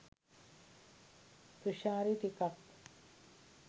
තුශාරි ටිකක්